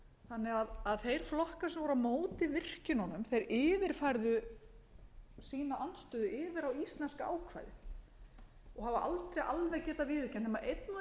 þannig að þeir flokkar sem voru á móti virkjununum yfirfærðu sína andstöðu yfir á íslenska ákvæðið og hafa aldrei alla getað viðurkennt nema einn og einn ráðherra einstaka sinnum þó hæstvirtur